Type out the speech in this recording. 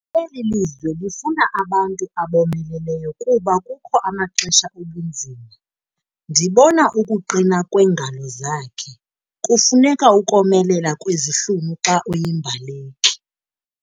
Eli lizwe lifuna abantu abomeleleyo kuba kukho amaxesha obunzima. ndibona ukuqina kweengalo zakhe, kufuneka ukomelela kwezihlunu xa uyimbaleki